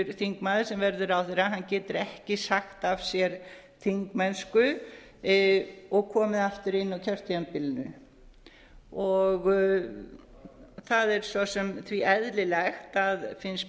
getur þingmaður sem verður ráðherra ekki sagt af sér þingmennsku og komið aftur inn á kjörtímabilinu það er svo sem því eðlilegt finnst